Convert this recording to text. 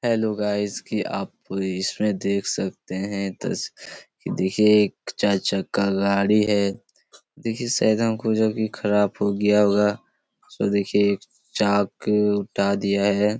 Hello guys कि आप इसमें देख सकते हैं तस कि देखिये एक चार चक्का गाड़ी है देखिये सायद हमको जब ये खराब हो गया होगा उसमें देखिये एक चाक हटा दिया है।